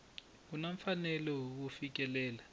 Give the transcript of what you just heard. u na mfanelo wo fikelela